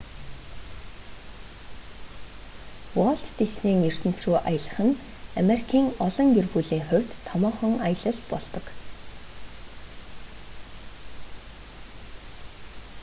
уолт диснейн ертөнц рүү аялах нь америкийн олон гэр бүлийн хувьд томоохон аялал болдог